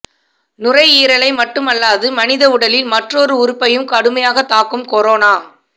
நுரையீரலை மட்டுமல்லாது மனித உடலில் மற்றுமொரு உறுப்பையும் கடுமையாக தாக்கும் கொரோனா